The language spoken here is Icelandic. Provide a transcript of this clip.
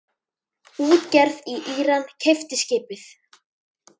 Útgerð í Íran keypti skipið.